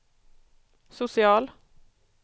social